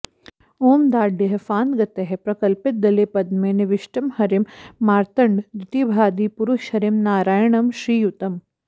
ॐ डाद्यैः फान्तगतैः प्रकल्पितदले पद्मे निविष्टं हरिं मार्तण्डद्युतिभादिपुरुषहरिं नारायणं श्रीयुतम्